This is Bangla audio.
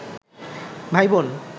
ভাই বোন